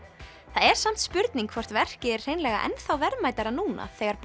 það er samt spurning hvort verkið er hreinlega enn þá verðmætara núna þegar